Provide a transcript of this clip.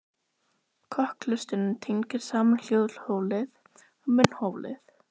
Kokhlustin tengir saman hljóðholið og munnholið.